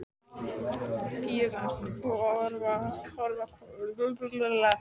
Píurnar horfa forvitnum augum á eftir honum.